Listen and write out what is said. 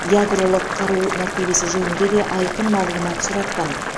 ядролық қару мәртебесі жөнінде де айқын мағлұмат сұратқан